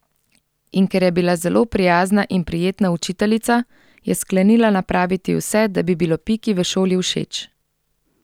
In ker je bila zelo prijazna in prijetna učiteljica, je sklenila napraviti vse, da bi bilo Piki v šoli všeč.